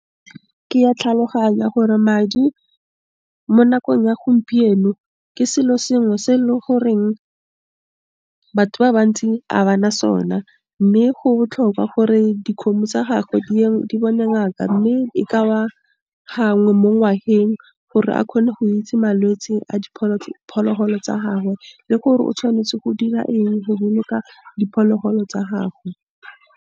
Ke ya tlhaloganya gore madi mo nakong ya gompieno, ke selo sengwe se e le goreng batho ba bantsi a bana sona, mme go botlhokwa gore dikgomo tsa gagwe di bone ngaka, mme e ka ba gangwe mo ngwageng, gore a kgone go itse malwetse a diphologolo tsa gagwe le gore o tshwanetse go dira eng go boloka diphologolo tsa gago.